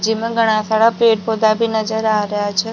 जिमा घणा सारा पेड़ पौधा भी नजर आ रेहा छे।